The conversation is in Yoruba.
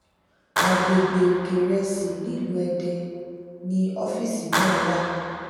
àgbègbè òkèìrẹsì nílùú èdè ni ọfíìsì náà wà